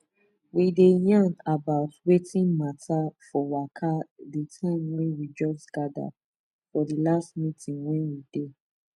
we dey yarn about wetin matta for waka de time wey we just gather for the last meeting wey we dey